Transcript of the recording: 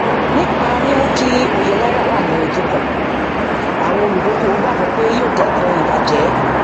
nípa mímú kí òye náírà wá ní ojú kan àwọn olúdókòwò gbàgbọ yóò dẹkùn ìbajẹ